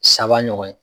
Saba ɲɔgɔn ye